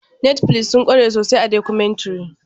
Netflix sun kware sosai a documentary.